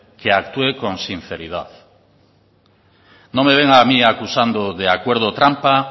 que actúe con sinceridad no me venga a mí acusando de acuerdo trampa